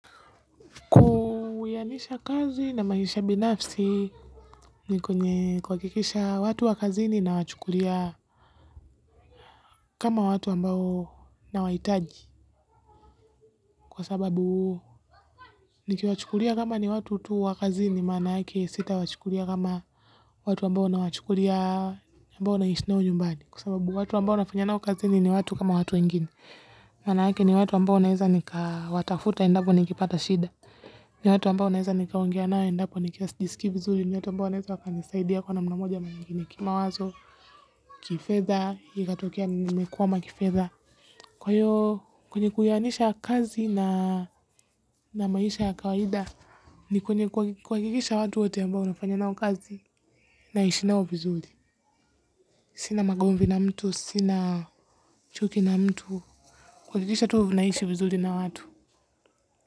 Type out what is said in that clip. Uwianisha kazi na maisha binafsi ni kwenye kuwakikisha watu wakazini na wachukulia kama watu ambao nawaitaji kwa sababu niki wachukulia kama ni watu tu wa kazini manake sita wachukulia kama watu ambao na wachukulia ambao na ishi nao nyumbani kwa sababu watu ambao nafanya nao wakazini ni watu kama watu wengine. Manaake ni watu ambao naeza nika watafuta endapo nikipata shida. Ni watu ambao naeza nika ungea nao endapo nikiwa sijisiki vizuri. Ni watu ambao wanaeza waka nisaidia kwa namna moja ama nyingine kimawazo. Kifedha, hikatokea nimekwama kifedha. Kwa hiyo, kwenye kuyanisha kazi na maisha ya kawaida, ni kwenye kuwakikisha watu wote ambao unafanyo nao kazi. Naishi nao vizuri sina magomvi na mtu sina chuki na mtu. Kuwakikisha tu naishi vizuri na watu.